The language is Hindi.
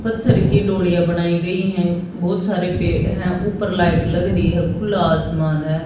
पत्थर की डोलिया बनाई गई है बहुत सारे पेड़ हैं ऊपर लाइट लग रही है खुला आसमान है।